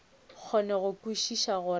kgone go kwešiša gore ke